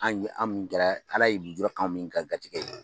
An ɲe an min kɛra Ala ye lujura k'an min ka garijɛgɛ ye.